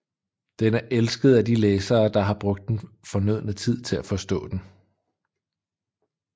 Den er elsket af de læsere der har brugt den fornødne tid til at forstå den